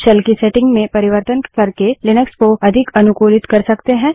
shell की setting में परिवर्तन करके लिनक्स को अधिक अनुकूलित कर सकते है